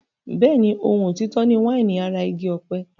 Bẹ́ẹ̀ni, ohun òtítọ́ ni wáìnì ara igi ọ̀pẹ.